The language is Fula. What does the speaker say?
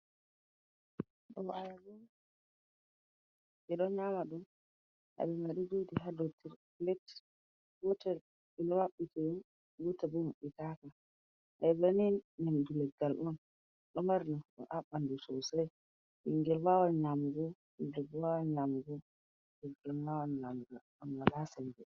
Ɗum ayaba on, ɓe ɗo nyama ɗum. Ayaba mai ɗo jooɗi ha dou tre, plet. Gotel ɗum ɗo maɓɓiti ni, gotel bo maɓɓitaaka. Ayaba ni ɗum nyamdu leggal on. Ɗo mari nafu haa ɓandu sosai. Ɓingel wawan nyamgo puldebbo wawan nyamugo, derke'en wawan nyamgo, ngam wala sembe.